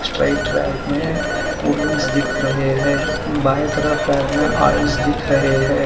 Straight rack में cold drink दिख रहे हैं बाएं तरफ रैक में आइल्स दिख रहे हैं।